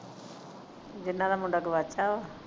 ਜਿਨ੍ਹਾਂ ਦਾ ਮੁੰਡਾ ਗਵਾਚਾ ਵਾਂ